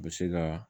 U bɛ se ka